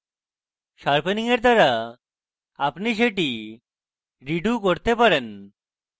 sharpening এর দ্বারা আপনি সেটি redo করতে পারেন